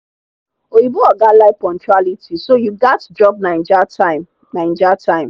oyinbo oga like punctuality so you gats drop naija time. naija time.